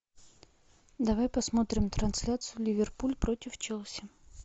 давай посмотрим трансляцию ливерпуль против челси